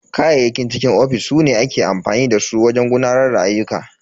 Kayayyakin cikin ofis su ne ake amfani da su wajen gudanar da ayyuka.